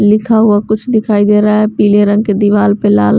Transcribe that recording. लिखा हुआ कुछ दिखाई दे रहा है पीले रंग के दीवाल पे लाल --